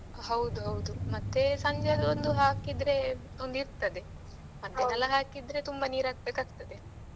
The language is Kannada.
ಹೌದು ಹೌದು ಮತ್ತೆ ಸಂಜೆದು ಒಂದು ಹಾಕಿದ್ರೆ ಒಂದು ಇರ್ತದೆ ಮದ್ಯಾಹ್ನಯೆಲ್ಲ ಹಾಕಿದ್ರೆ ತುಂಬಾ ನೀರು ಹಾಕ್ಬೇಕಾಗ್ತದೆ.